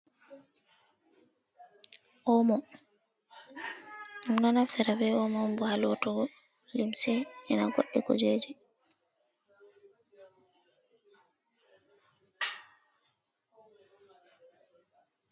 Oomo ɗum ɗon naftira oomo on boo haaoo lootugo limse e na godɗi kujeeji.